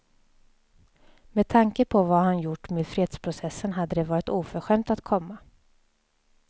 Med tanke på vad han gjort med fredsprocessen hade det varit oförskämt att komma.